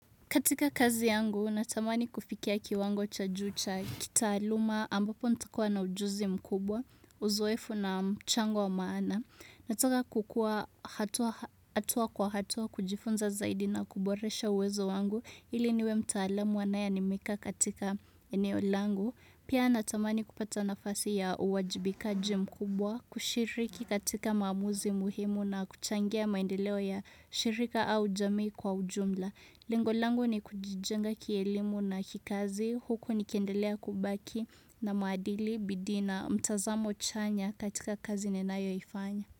Katika kazi yangu, natamani kufikia kiwango cha juu cha kitaaluma ambapo ntakuwa na ujuzi mkubwa, uzoefu na mchango wa maana. Nataka kukua hatua kwa hatua kujifunza zaidi na kuboresha uwezo wangu ili niwe mtaalamu anaye animika katika eneo langu. Pia natamani kupata nafasi ya uwajibikaji mkubwa, kushiriki katika maamuzi muhimu na kuchangia maendeleo ya shirika au jamii kwa ujumla. Lengo langu ni kujijenga kielimu na kikazi huku nikiendelea kubaki na maadili bidii na mtazamo chanya katika kazi ninayo ifanya.